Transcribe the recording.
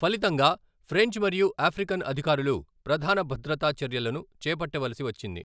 ఫలితంగా, ఫ్రెంచ్ మరియు ఆఫ్రికన్ అధికారులు ప్రధాన భద్రతా చర్యలను చేపట్టవలసి వచ్చింది.